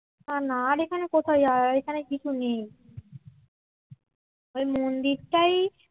না আর এখানে কোথায় যাওয়া এখানে কিছু নেই ওই মন্দিরটাই